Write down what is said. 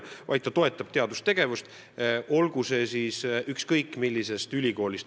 Ei, sihtkapital toetab teadustegevust, tehtagu seda ükskõik millises ülikoolis.